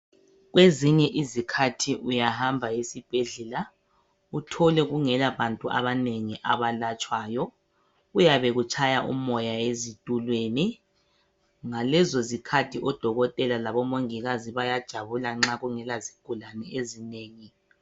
Kwezinye izikhathi uyahamba esibhedlela, uthole kungela bantu abanengi abelatshwayo, kuyabe kutshaya umoya ezitulweni. Ngalezo zikhathi odokotela labo mongikazi bayabe bejabula nxa kungela zigulane ezinengi